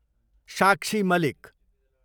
साक्षी मालिक